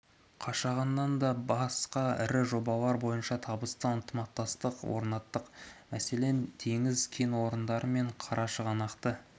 қашағаннан да басқа ірі жобалар бойынша табысты ынтымақтастық орнаттық мәселен теңіз кен орны мен қарашығанақты